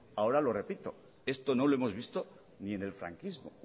ahora lo repito esto no lo hemos visto ni en el franquismo